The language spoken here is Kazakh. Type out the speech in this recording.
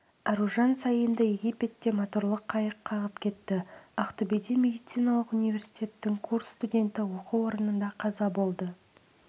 аружан саинды египетте моторлы қайық қағып кетті ақтөбеде медициналық университеттің курс студенті оқу орнында қаза болды